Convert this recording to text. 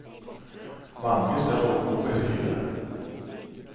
Mange ser noe komisk i det.